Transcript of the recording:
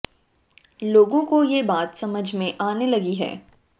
लोगों के यह बात समझ में आने लगी है